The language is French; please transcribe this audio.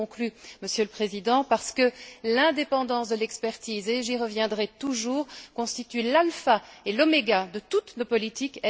Je conclus, Monsieur le Président, parce que l'indépendance de l'expertise et j'y reviendrai toujours constitue l'alpha et l'oméga de toutes nos politiques.